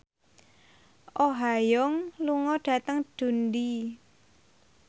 Oh Ha Young lunga dhateng Dundee